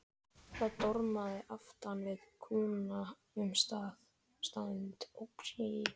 Það dormaði aftan við kúna um stund.